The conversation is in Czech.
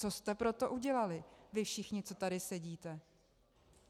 Co jste pro to udělali vy všichni, co tady sedíte?